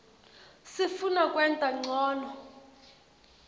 sifuna kwenta ncono